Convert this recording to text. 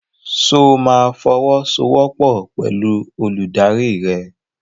Ṣo máa fọwọ́sowọ́pọ̀ pẹ̀lú olùdarí rẹ?